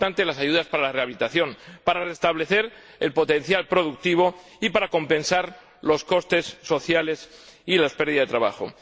son importantes las ayudas para la rehabilitación, para restablecer el potencial productivo y para compensar los costes sociales y las pérdidas de trabajo.